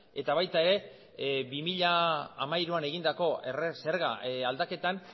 eta baita ere bi mila hamairuan egindako erre zerga aldaketan